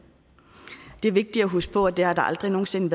det er vigtigt at huske på at det har der aldrig nogen sinde